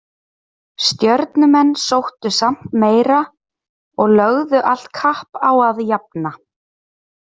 Stjörnumenn sóttu samt meira og lögðu allt kapp á að jafna.